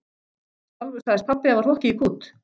Sjálfur sagðist pabbi hafa hrokkið í kút.